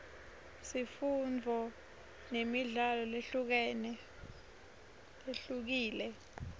sifundzo nemidlalo lehlukile